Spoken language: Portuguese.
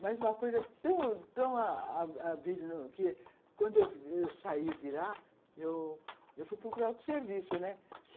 Mas uma coisa tão tão ah ah... Quando eu saí de lá, eu eu fui procurar outro serviço, né.